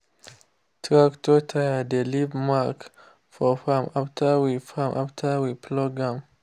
tractor tyre dey leave mark for farm after we farm after we plough am.